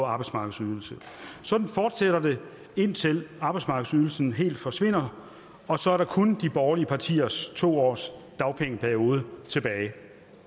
arbejdsmarkedsydelse sådan fortsætter det indtil arbejdsmarkedsydelsen helt forsvinder og så er der kun de borgerlige partiers to års dagpengeperiode tilbage